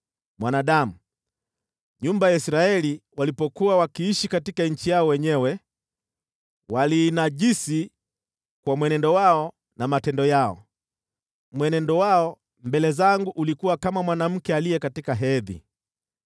“Mwanadamu, nyumba ya Israeli walipokuwa wakiishi katika nchi yao wenyewe, waliinajisi kwa mwenendo wao na matendo yao. Mwenendo wao mbele zangu ulikuwa kama mwanamke aliye katika hedhi.